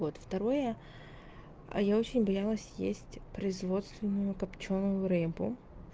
вот второе а я очень боялась есть производственную копчёную рыбу